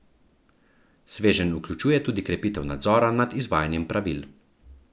Sveženj vključuje tudi krepitev nadzora nad izvajanjem pravil.